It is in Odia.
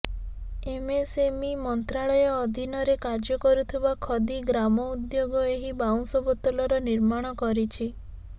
ଏମ୍ଏସ୍ଏମ୍ଇ ମନ୍ତ୍ରାଳୟ ଅଧିନରେ କାର୍ଯ୍ୟକରୁଥିବା ଖଦୀ ଗ୍ରାମଉଦ୍ୟୋଗ ଏହି ବାଉଁଶ ବୋତଲର ନିର୍ମାଣ କରିଛି